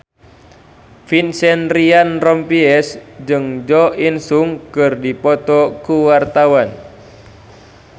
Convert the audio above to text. Vincent Ryan Rompies jeung Jo In Sung keur dipoto ku wartawan